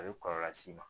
A bɛ kɔlɔlɔ s'i ma